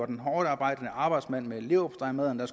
den hårdtarbejdende arbejdsmand med leverpostejmadderne